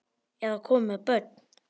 Eða komin með börn?